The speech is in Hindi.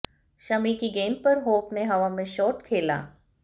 शमी की गेंद पर होप ने हवा में शॉट खेला